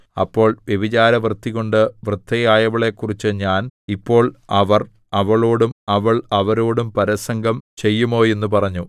അപ്പോൾ വ്യഭിചാരവൃത്തികൊണ്ട് വൃദ്ധയായവളെക്കുറിച്ച് ഞാൻ ഇപ്പോൾ അവർ അവളോടും അവൾ അവരോടും പരസംഗം ചെയ്യുമോ എന്ന് പറഞ്ഞു